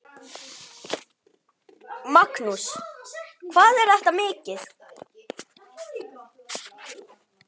Magnús: Hvað er þetta mikið?